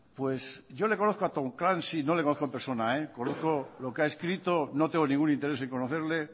pues yo le conozco a tom clancy no le conozco en persona conozco lo que ha escrito no tengo ningún interés en conocerle